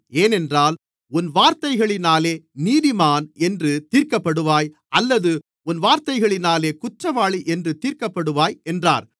ஏனென்றால் உன் வார்த்தைகளினாலே நீதிமான் என்று தீர்க்கப்படுவாய் அல்லது உன் வார்த்தைகளினாலே குற்றவாளி என்று தீர்க்கப்படுவாய் என்றார்